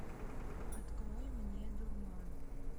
открой мне дурман